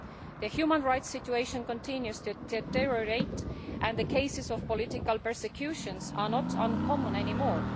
The human rights situation continues to deteriorate and cases of political persecution are not uncommon anymore.